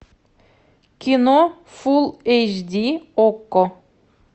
кино фул эйч ди окко